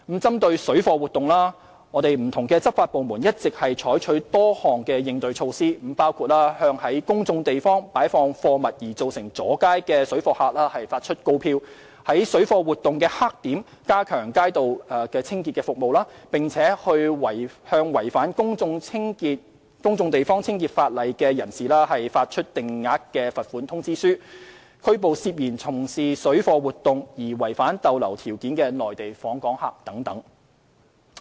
針對水貨活動，不同執法部門一直採取多項應對措施，包括向在公眾地方擺放貨物而造成阻街的水貨客發出告票；在水貨活動黑點加強街道清潔服務，並向違反《定額罰款條例》的人士發出定額罰款通知書；拘捕涉嫌從事水貨活動而違反逗留條件的內地訪客等。